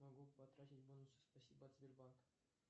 могу потратить бонусы спасибо от сбербанка